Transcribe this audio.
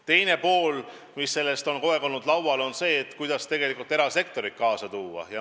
Teine küsimus, mis on kogu aeg laual olnud, on see, kuidas erasektorit kaasa tõmmata.